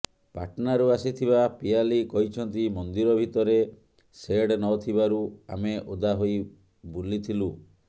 ପାଟନାରୁ ଆସିଥିବା ପିୟାଲି କହିଛନ୍ତି ମନ୍ଦିର ଭିତରେ ସେଡ୍ ନଥିବାରୁ ଆମେ ଓଦା ହୋଇ ବୁଲିଥିଲୁ